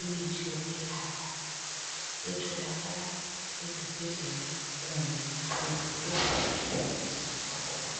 imithi yokwelapha etholakala ezibhedlela kumbe ezitolo lapho ethengiswa khona.